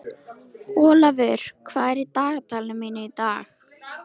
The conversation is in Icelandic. Olavur, hvað er í dagatalinu mínu í dag?